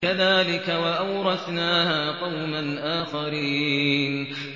كَذَٰلِكَ ۖ وَأَوْرَثْنَاهَا قَوْمًا آخَرِينَ